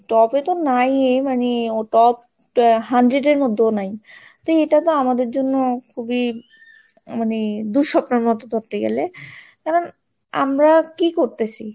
top ten এ তো নাই মানে ও top hundred এর মধ্যেও নাই তো এটা তো আমাদের জন্য খুবই মানে দুঃস্বপ্নের মতো ধরতে গেলে কারণ আমরা কি করতেছি?